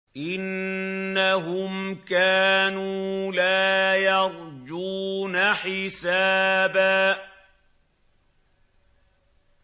إِنَّهُمْ كَانُوا لَا يَرْجُونَ حِسَابًا